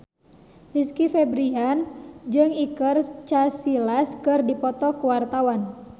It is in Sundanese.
Rizky Febian jeung Iker Casillas keur dipoto ku wartawan